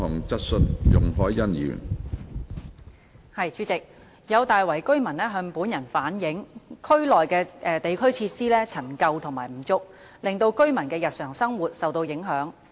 主席，有大圍居民向本人反映，區內地區設施陳舊和不足，令居民的日常生活受到影響。